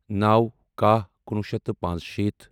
نَوو کَہہ کُنوُہ شیٚتھ تہٕ پانٛژشیٖتھ